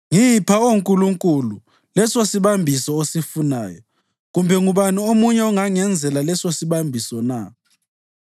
Ngipha, Oh Nkulunkulu, lesosibambiso osifunayo. Kambe ngubani omunye ongangenzela lesosibambiso na?